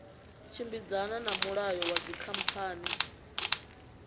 tshimbidzana na mulayo wa dzikhamphani